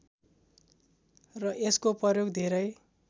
र यसको प्रयोग धेरै